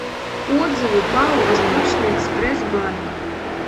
отзывы пао восточный экспресс банк